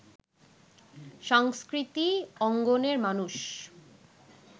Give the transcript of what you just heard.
সংস্কৃতি অঙ্গনের মানুষ